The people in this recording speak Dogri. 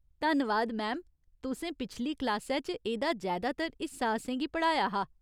धन्नवाद, मैम, तुसें पिछली क्लासै च एह्दा जैदातर हिस्सा असेंगी पढ़ाया हा।